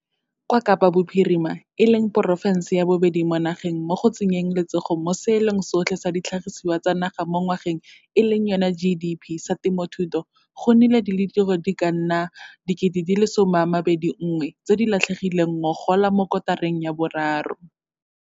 Kwa Kapa Bophirima, e leng porofense ya bobedi mo nageng mo go tsenyeng letsogo mo Seelong sotlhe sa Ditlhagiswa tsa Naga mo Ngwageng GDP sa temothuo, go nnile le ditiro di ka nna 21 000 tse di latlhegileng ngogola mo kotareng ya boraro.